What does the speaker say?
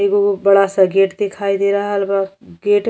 एगो बड़ा सा गेट दिखाई दे रहल बा गेट --